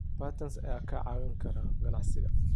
Patents ayaa kaa caawin kara ganacsiga.